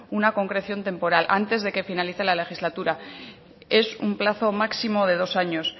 una concreción temporal antes de que finalice la legislatura es un plazo máximo de dos años